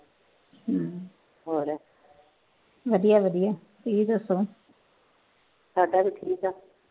ਸਾਡਾ ਵੀ ਠੀਕ ਆ